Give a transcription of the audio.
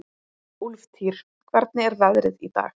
Úlftýr, hvernig er veðrið í dag?